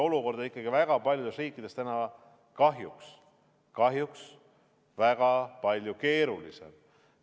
Olukord on ikkagi paljudes riikides kahjuks väga palju keerulisem.